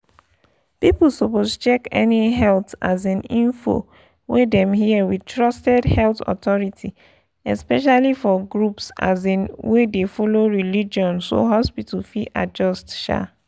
people suppose check any health um info wey dem hear with trusted health authority especially for groups um wey dey follow religion so hospital fit adjust. um